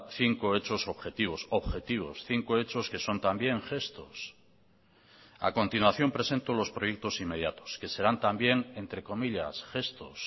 cinco hechos objetivos objetivos cinco hechos que son también gestos a continuación presento los proyectos inmediatos que serán también entre comillas gestos